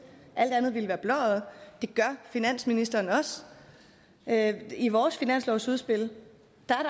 alt andet ville være blåøjet det gør finansministeren også i vores finanslovsudspil